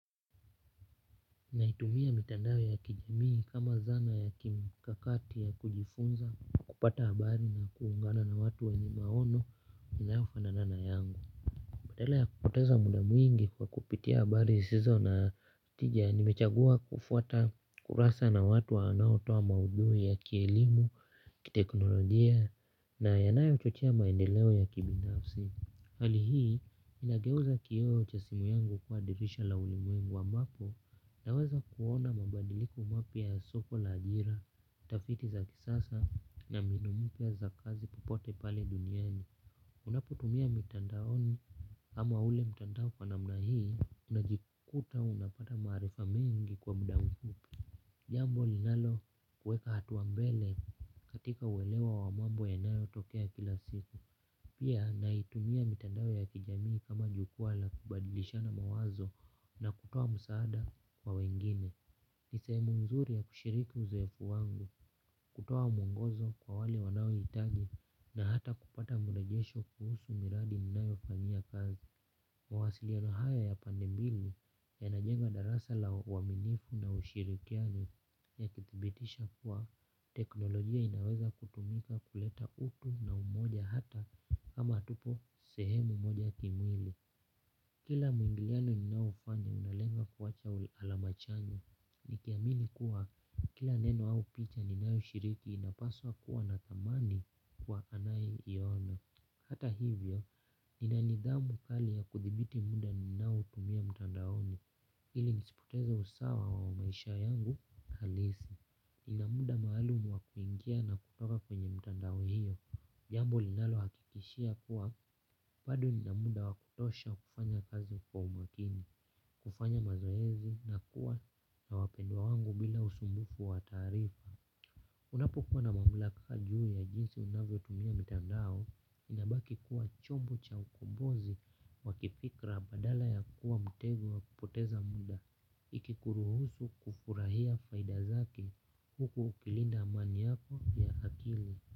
Naitumia mitandao ya kijamii kama zana ya kimkakati ya kujifunza kupata habari na kuungana na watu wenye maono inayofanana na yangu badala ya kupoteza muda mwingi kwa kupitia habari sizo na tija nimechagua kufuata kurasa na watu waonaotoa maudhui ya kielimu, kiteknolojia na yanayo chochea maendeleo ya kibindafsi. Hali hii, inageuza kioo cha simu yangu kuwaadirisha la ulimwengu wa ambapo naweza kuona mabadiliko mapya ya soko la ajira, tafiti za kisasa na mbinu mpya za kazi pahali popote pale duniani. Unaputumia mitandaoni ama ule mitandao kwa namna hii, unajikuta unapata marifa mengi kwa muda mfupi. Jambo linalo kueka hatuambele katika uelewa wa mambo yanayo tokea kila siku. Pia naitumia mitandao ya kijamii kama jukua la kubadilishana mawazo na kutoa msaada kwa wengine. Ni sehemu nzuri ya kushiriki uzoefu wangu, kutoa mungozo kwa wale wanaohitaji na hata kupata murejesho kuhusu miradi ninayo fanyia kazi. Mwasiliano haya ya pande mbili yanajenga darasa la uaminifu na ushirikiano ya kithibitisha kuwa teknolojia inaweza kutumika kuleta utu na umoja hata kama hatupo sehemu moja kimwili. Kila mwingiliano ninaofanya unalenga kuacha alama chanya. Nikiamini kuwa kila neno au picha ninayoshiriki inapaswa kuwa na thamani kwa anaye iona. Hata hivyo, nina nidhamu kali ya kuthibiti muda ninao tumia mtandaoni, ili nisipoteze usawa wa maisha yangu halisi. Nina muda maalumu wa kuingia na kutoka kwenye mtandao hiyo. Jambo linalo hakikishia kuwa, bado nina muda wa kutosha kufanya kazi kwa umakini, kufanya mazoezi na kuwa na wapendwa wangu bila usumbufu wa taarifa. Unapokuwa na mamlaka juu ya jinsi unavyotumia mitandao inabaki kuwa chombo cha ukombozi wa kifikra badala ya kuwa mtego wa kupoteza muda ikikuruhusu kufurahia faida zake huku ukilinda amani yako ya akili.